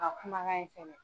A ka kumakan in fɛnɛ.